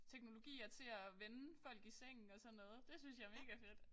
Teknologier til at vende folk i sengen og sådan noget det synes jeg er megafedt